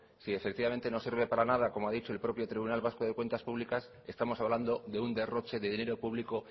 si efectivamente no sirve para nada como ha dicho el propio tribunal vasco de cuentas públicas estamos hablando de un derroche de dinero público